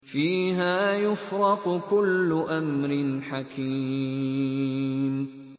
فِيهَا يُفْرَقُ كُلُّ أَمْرٍ حَكِيمٍ